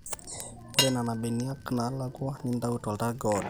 ore nena beniak naalakua nintau toltarge oodo